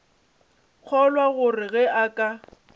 kgolwa gore ge a ka